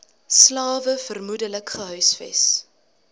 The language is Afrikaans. slawe vermoedelik gehuisves